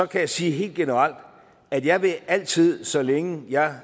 kan jeg sige helt generelt at jeg altid så længe jeg